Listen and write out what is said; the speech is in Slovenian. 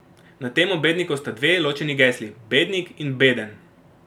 Na temo bednikov sta dve, ločeni gesli: 'bednik' in 'beden'.